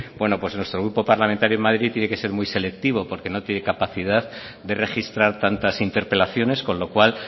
bueno pues nuestro grupo parlamentario en madrid tiene que ser muy selectivo porque no tiene capacidad de registrar tantas interpelaciones con lo cual